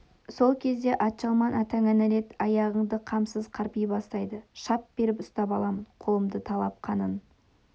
сол кезде атжалман атаңа нәлет аяғыңды қамсыз қарпи бастайды шап беріп ұстап аламын қолымды талап қанын